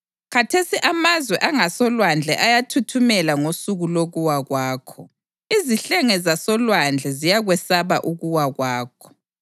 Khathesi amazwe angasolwandle ayathuthumela ngosuku lokuwa kwakho; izihlenge zasolwandle ziyakwesaba ukuwa kwakho.’